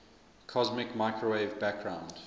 cosmic microwave background